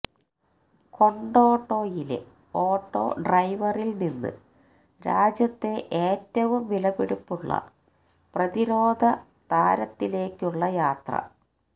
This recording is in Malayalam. കൊണ്ടോട്ടോയിലെ ഓട്ടോ ഡ്രൈവറിൽ നിന്ന് രാജ്യത്തെ ഏറ്റവും വിലപിടിപ്പുള്ള പ്രതിരോധ താരത്തിലേക്കിലുള്ള യാത്ര